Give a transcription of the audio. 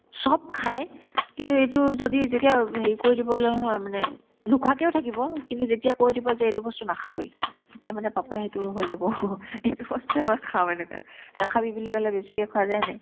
চব খাইয়ে কিন্তু এইটো যদি যেতিয়া হেৰি কৰি দিব লাগে নহয় মানে নোখোৱাকেও থাকিব কিন্তু যেতিয়া কৈ দিব যে এইটো বস্তু নাখাবি তেতিয়া মানে papa ই সেইটো হৈ যাব সেইটো বস্তুয়ে মই খাম এনেকুৱা নাখাবি বুলি ক'লে বেছিকে খোৱা যাই এনেই